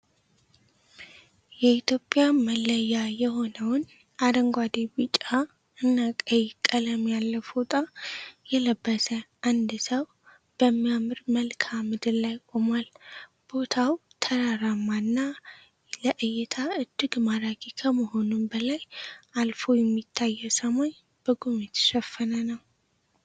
የኢትዮጵያ መለያ የሆነውን አረንጓዴ ቢጫ እና ቀይ ቀለም ያለው ፎጣ የለበሰ አንድ ሰው በሚያምር መልከአ ምድር ላይ ቆሟል። ቦታው ተራራማ እና ለእይታ እጅግ ማራኪ ከመሆኑም በላይ አልፎ የሚታየው ሰማይ በጉም የተሸፈነ ነው።